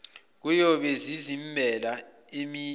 kuyobe zizimbela amaliba